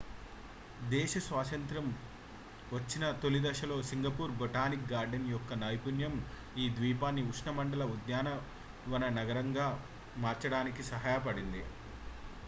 దేశ స్వాతంత్ర్యం వచ్చిన తొలిదశలో సింగపూర్ బొటానిక్ గార్డెన్స్ యొక్క నైపుణ్యం ఈ ద్వీపాన్ని ఉష్ణమండల ఉద్యానవన నగరంగా మార్చడానికి సహాయపడింది